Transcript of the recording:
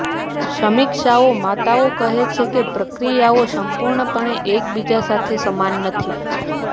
સમીક્ષાઓ માતાઓ કહે છે કે પ્રક્રિયાઓ સંપૂર્ણપણે એકબીજા સાથે સમાન નથી